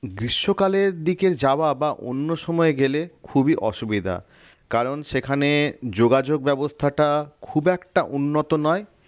গ্রীষ্মকালের দিকে যাওয়া বা অন্য সময় গেলে খুবই অসুবিধা কারণ সেখানে যোগাযোগ ব্যবস্থাটা খুব একটা উন্নত নয়